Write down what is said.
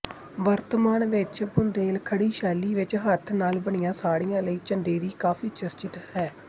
ਵਰਤਮਾਨ ਵਿੱਚ ਬੁੰਦੇਲਖੰਡੀ ਸ਼ੈਲੀ ਵਿੱਚ ਹੱਥ ਨਾਲ ਬਣੀਆਂ ਸਾੜੀਆਂ ਲਈ ਚੰਦੇਰੀ ਕਾਫ਼ੀ ਚਰਚਿਤ ਹੈ